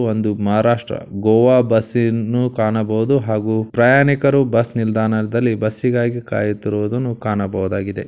ಕೆಂಪು ಬಣ್ಣದ ಬಸ್ ಕಾಣಬಹುದು ಒಂದು ಮಹಾರಾಷ್ಟ್ರ ಒಂದು ಗೋವಾ ಬಸ್ಸನ್ನು ಕಾಣಬಹುದು ಹಾಗೂ ಪ್ರಯಾಣಿಕರು ಬಸ್ ನಿಲ್ದಾಣದಲ್ಲಿ.